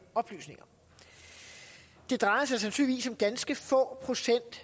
oplysninger det drejer sig sandsynligvis om ganske få procent